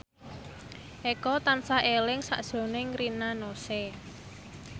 Eko tansah eling sakjroning Rina Nose